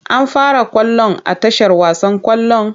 An fara ƙwallon a tashar wasan ƙwallon?